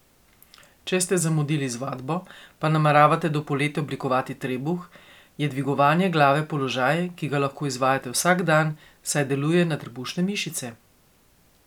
Če ste zamudili z vadbo, pa nameravate do poletja oblikovati trebuh, je dvigovanje glave položaj, ki ga lahko izvajate vsak dan, saj deluje na trebušne mišice.